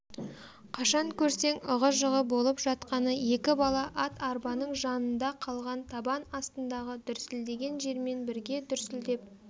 қашан көрсең ығы-жығы болып жатқаны екі бала ат-арбаның жанында қалған табан астындағы дүрсілдеген жермен бірге дүрсілдеп